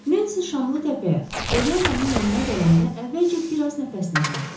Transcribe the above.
Nensi Şamlıtəpəyə, Polyananın yanına gələndə əvvəlcə biraz nəfəsini dərdi.